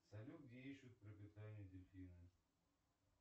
салют где ищут пропитание дельфины